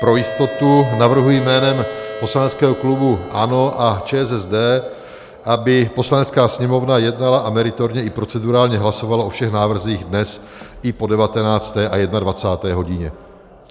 Pro jistotu navrhuji jménem poslaneckého klubu ANO a ČSSD, aby Poslanecká sněmovna jednala a meritorně i procedurálně hlasovala o všech návrzích dnes i po 19. a 21. hodině.